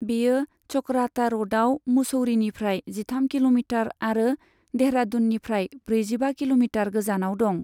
बेयो चकराता र'डआव मुसौरीनिफ्राय जिथाम किल'मिटार आरो देहरादूननिफ्राय ब्रैजिबा किल'मिटार गोजानाव दं।